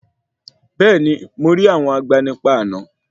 Bẹ́ẹ̀ni, mo rí àwọn agbanipa àná.